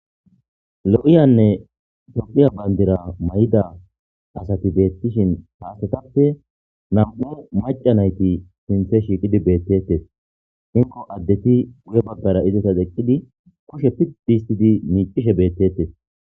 lo'iyanne tophiya bandira mayda asati beettishin haastetappe nam7u maca nayti sinthe shiiqidi beettetes inko addeti wuye baggara izetas eqqidi kushe piddi histidi miicishe beettettes